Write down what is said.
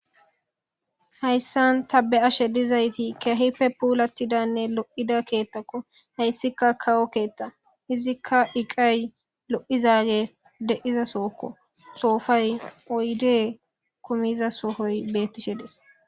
Hayssan ta be ashe dizayti kehife puulattidanne lo7ida keettakko hayssika kawo keetta izikka iqay lo7izaage de7iza sookko soofay oyde kumiza soohoy bettishe des.